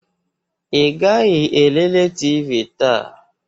Ị gaghị elele TV taa?